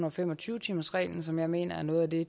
og fem og tyve timersreglen som jeg mener er noget af det